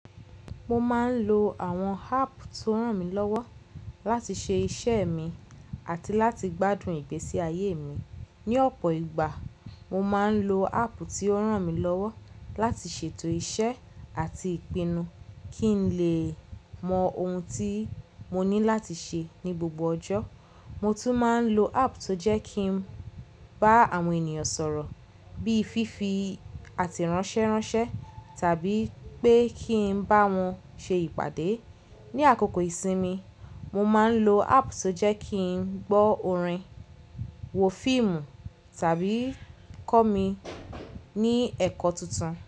Mo máa ń lo àwọn háàpù tó ràn mí lọ́wọ́ láti ṣe iṣẹ́ mi àti láti gbádùn ìgbésí ayé mi. Ni ọ̀pọ̀ ìgbà, mo máa ń lo háàpù tí ó ràn mí lọ́wọ́ láti ṣètò iṣẹ́ àti ìpinnu kí n lè mọ ohun tí mo ní láti ṣe ní gbogbo ọjọ́. Mo tún máa ń lo háàpù tó jẹ́ kí n bá àwọn ènìyàn sọ̀rọ̀ bí i fífi àte ránṣẹ́ránṣẹ́ tàbí pé kí n bá wọn ṣe ìpàdé. Ni àkókò ìsinmi, mo máa ń lo háàpù tó jẹ́ kí n gbọ́ orin, wo fíìmù tàbí kọ́ mi ní ẹ̀kọ́ tuntun.